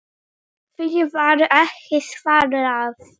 Því var ekki svarað.